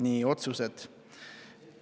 Nii, otsused.